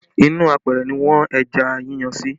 Inú apẹ̀rẹ̀ ni wọ́n ẹja yíyan sí